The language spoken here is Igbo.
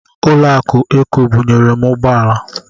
Ụlọ akụ Ekobanki bunyere m ụgbọala.